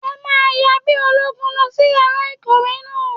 Ẹ máa yan bí ológun lọ sí yàrá ìkọ̀wé náà.